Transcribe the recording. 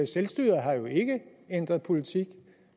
selvstyret har jo ikke ændret politik